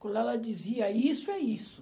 Quando ela dizia isso, é isso.